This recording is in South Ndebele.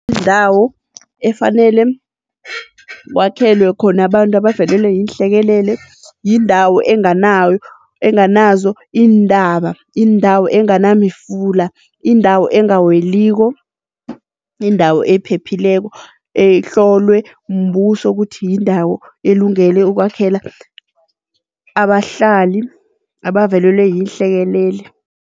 Indawo efanele kwakhelwe khona abantu abavelelwe yinhlekelele, yindawo enganawo, enganazo iintaba, indawo enganamifula, indawo engaweliko, indawo ephephileko, ehlolwe mbuso kuthi yindawo elungele ukwakhela abahlali abavelelwe yihlekelele.